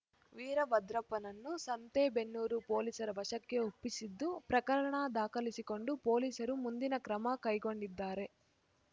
ವೀರಭದ್ರಪ್ಪನನ್ನು ಸಂತೇಬೆನ್ನೂರು ಪೊಲೀಸರ ವಶಕ್ಕೆ ಒಪ್ಪಿಸಿದ್ದು ಪ್ರಕರಣ ದಾಖಲಿಸಿಕೊಂಡು ಪೊಲೀಸರು ಮುಂದಿನ ಕ್ರಮ ಕೈಗೊಂಡಿದ್ದಾರೆ